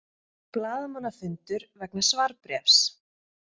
Blaðamannafundur vegna svarbréfs